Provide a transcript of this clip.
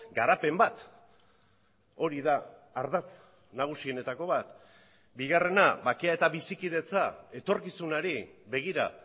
garapen bat hori da ardatz nagusienetako bat bigarrena bakea eta bizikidetza etorkizunari begira